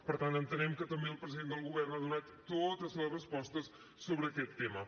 per tant entenem que també el president del govern ha donat totes les respostes sobre aquest tema